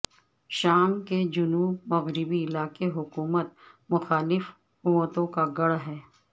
شام کے جنوب مغربی علاقے حکومت مخالف قوتوں کا گڑھ ہے